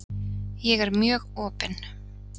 Ég er mjög opin.